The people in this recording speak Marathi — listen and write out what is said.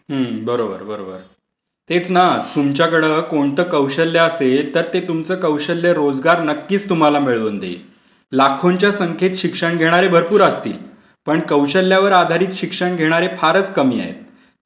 हा, बरोबर, बरोबर. तेच ना. तुमच्याकडे कोणतं कौशल्य असेल तर ते तुमचं कौशल्य नक्कीच तुम्हाला रोजगार मिळवून देईल. लाखोंच्या संख्येत शिक्षण घेणारे भरपूर असतील पण कौशल्यावर आधारित शिक्षण घेणारे फारच कमी आहेत.